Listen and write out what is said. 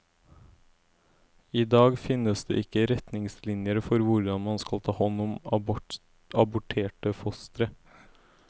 I dag finnes det ikke retningslinjer for hvordan man skal ta hånd om aborterte fostre.